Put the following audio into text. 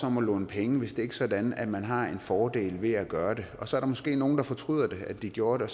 om at låne penge hvis ikke sådan at man har en fordel ved at gøre det og så er der måske nogen der fortryder at de gjorde det